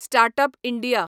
start up India